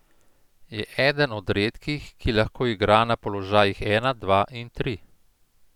Je eden od redkih, ki lahko igra na položajih ena, dva in tri.